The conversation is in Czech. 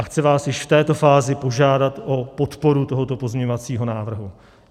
A chci vás již v této fázi požádat o podporu tohoto pozměňovacího návrhu.